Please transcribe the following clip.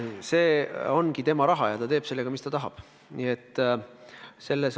See ongi tema raha ja ta teeb sellega, mis ta tahab.